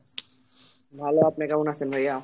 ভালো, আপনি কেমন আছেন ভাইয়া?